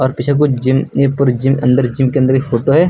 पीछे कुछ जिम यहां पर जिम अंदर जिम के अंदर एक फोटो है।